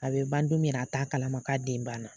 A bɛ ban don min yɛrɛ a t'a kalama k'a den ban na.